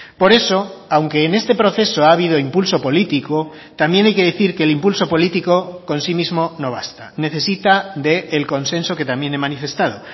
por eso aunque en este proceso ha habido impulso político también hay que decir que el impulso político con sí mismo no basta necesita del consenso que también he manifestado